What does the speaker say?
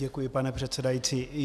Děkuji, pane předsedající.